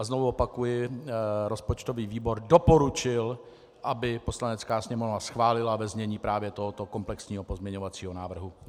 A znovu opakuji, rozpočtový výbor doporučil, aby Poslanecká sněmovna schválila ve znění právě tohoto komplexního pozměňovacího návrhu.